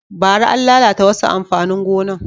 Bara, an lalata wasu amfanin gonan